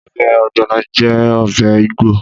Ọbẹ̀ ògbònò jẹ́ ọbẹ̀ Ígbò